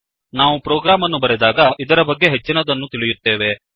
ನಾವು ಪ್ರೋಗ್ರಾಮ್ ಅನ್ನು ಬರೆದಾಗ ಇದರ ಬಗ್ಗೆ ಹೆಚ್ಚಿನದನ್ನು ತಿಳಿಯುತ್ತೇವೆ